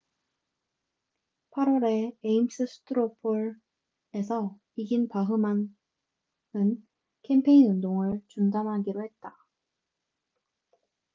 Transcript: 8월에 에임스 스트로 폴ames straw poll에서 이긴 바흐만bachmann은 캠페인 운동을 중단하기로 했다